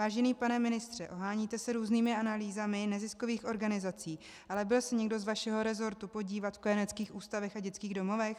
Vážený pane ministře, oháníte se různými analýzami neziskových organizací, ale byl se někdo z vašeho resortu podívat v kojeneckých ústavech a dětských domovech?